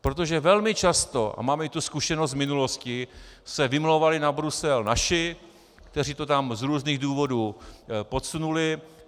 Protože velmi často, a máme i tu zkušenost z minulosti, se vymlouvali na Brusel naši, kteří to tam z různých důvodů podsunuli.